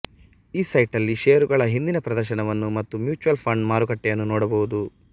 ಈ ಸೈಟಲ್ಲಿ ಷೇರುಗಳ ಹಿಂದಿನ ಪ್ರದರ್ಶನವನ್ನು ಮತ್ತು ಮ್ಯೂಚ್ಯುಯಲ್ ಫಂಡ್ ಮಾರುಕಟ್ಟೆಯನ್ನು ನೋಡಬಹುದು